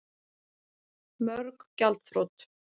Mörg gjaldþrot